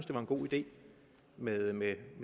det var en god idé med med